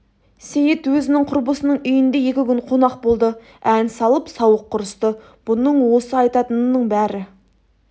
сейіт өзінің құрбысының үйінде екі күн қонақ болды ән салып сауық құрысты бұның осы айтатынының бәрі